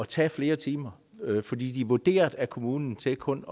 tage flere timer for de er vurderet af kommunen til kun